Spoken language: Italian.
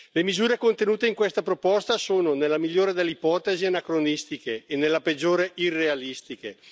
Le misure contenute in questa proposta sono nella migliore delle ipotesi anacronistiche e nella peggiore irrealistiche.